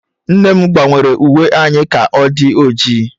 Nna m gbanwere uwe anyị ka ọ di oji